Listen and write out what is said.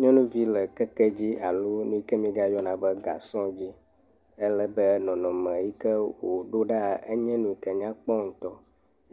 Nyɔnuvi le keke dzi alo nuyike m]egayɔna be gasɔ dzi ale be nɔnɔme yike woɖo ɖa enye nuyike nyakpɔ ŋutɔ.